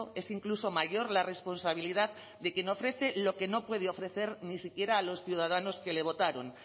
es incluso mayor la responsabilidad de quien ofrece lo que no puede ofrecer ni siquiera a los ciudadanos que le votaron